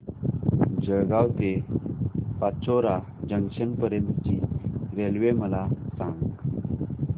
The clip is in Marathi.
जळगाव ते पाचोरा जंक्शन पर्यंतची रेल्वे मला सांग